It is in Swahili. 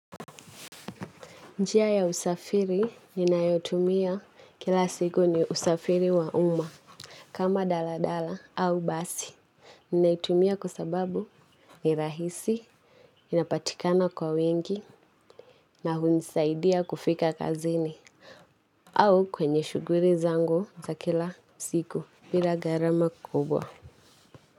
Njia ya usafiri ninayotumia kila siku ni usafiri wa umma. Kama dala dala au basi. Ninaitumia kwa sababu ni rahisi, inapatikana kwa wengi na hunisaidia kufika kazini. Au kwenye shughuli zangu za kila siku. Bila gharama kubwa.